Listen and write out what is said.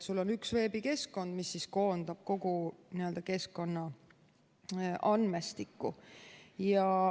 On üks veebikeskkond, mis koondab kogu keskkonnaandmestiku.